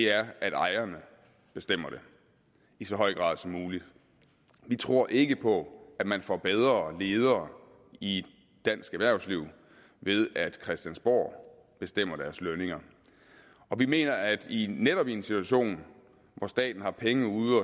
er at ejerne bestemmer det i så høj grad som muligt vi tror ikke på at man får bedre ledere i dansk erhvervsliv ved at christiansborg bestemmer deres lønninger vi mener at netop i en situation hvor staten har penge ud